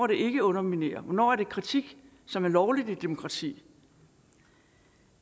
ikke at underminere hvornår er det kritik som er lovligt i et demokrati